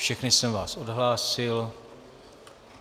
Všechny jsem vás odhlásil.